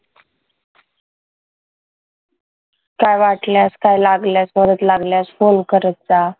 काही वाटल्यास काही लागलं गरज लागल्यास फोन करत जा.